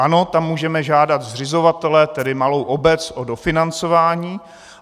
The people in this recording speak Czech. Ano, tam můžeme žádat zřizovatele, tedy malou obec, o dofinancování.